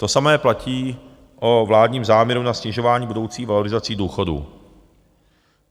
To samé platí o vládním záměru na snižování budoucích valorizací důchodů.